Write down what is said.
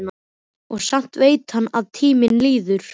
Og samt veit hann að tíminn líður.